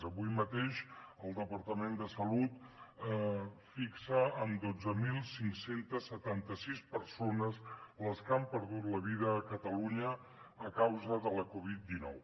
avui mateix el departament de salut fixa en dotze mil cinc cents i setanta sis persones les que han perdut la vida a catalunya a causa de la covid dinou